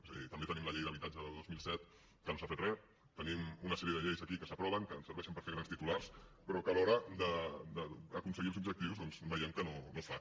és a dir també tenim la llei d’habitatge del dos mil set que no s’ha fet res tenim una sèrie de lleis aquí que s’aproven que ens serveixen per fer grans titulars però que a l’hora d’aconseguir els objectius doncs veiem que no es fa